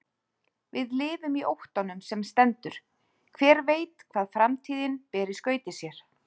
Við lifum í óttanum sem stendur, hver veit hvað framtíðin ber í skauti sér?